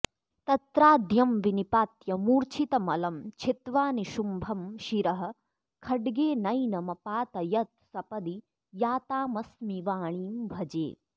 तत्राद्यं विनिपात्य मूर्च्छितमलं छित्त्वा निशुम्भं शिरः खड्गेनैनमपातयत्सपदि या तामस्मि वाणीं भजे